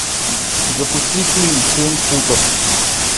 запусти фильм семь футов